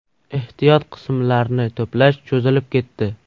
Ehtiyot qismlarni to‘plash cho‘zilib ketdi.